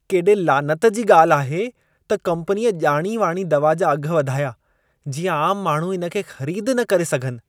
केॾे लानत जी ॻाल्हि आहे त कम्पनीअ ॼाणी वाणी दवा जा अघ वधाया, जीअं आम माण्हू इन खे ख़रीद न करे सघनि। (ग्राहक)